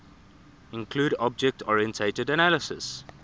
include object oriented analysis